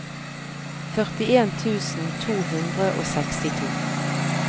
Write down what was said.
førtien tusen to hundre og sekstito